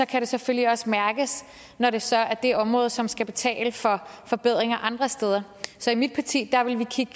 kan det selvfølgelig også mærkes når det så er det område som skal betale for forbedringer andre steder så i mit parti ville vi kigge